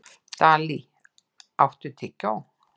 Dalí, áttu tyggjó?